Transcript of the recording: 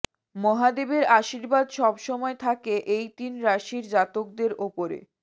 মহাদেবের আশীর্বাদ সব সময় থাকে এই তিন রাশির জাতকদের ওপরে